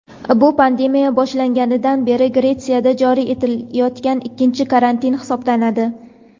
Bu pandemiya boshlanganidan beri Gretsiyada joriy etilayotgan ikkinchi karantin hisoblanadi.